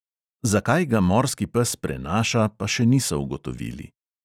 Zakaj ga morski pes prenaša, pa še niso ugotovili.